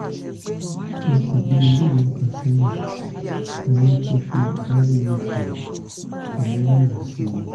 oṣù bíi mélòó kan sẹ́yìn ni wọ́n ti fi iud mirena sí i